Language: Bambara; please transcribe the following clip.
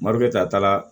Marɔkɛ ta taala